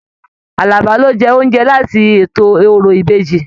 Àlàbá ló jẹ oúnjẹ láti ètò òrò ìbejì.